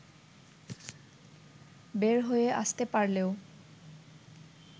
বের হয়ে আসতে পারলেও